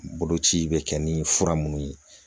Boloci bɛ kɛ ni fura munnu ye